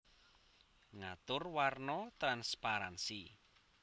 Ngatur warna transparansi